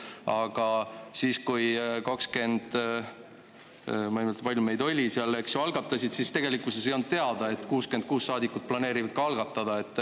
Aga siis, kui 20 – ma ei mäleta, kui palju meid oli seal, eks – algatasid, siis tegelikkuses ei olnud teada, et 66 saadikut planeerivad ka algatada.